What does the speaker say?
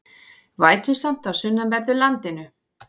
Vætusamt á sunnanverðu landinu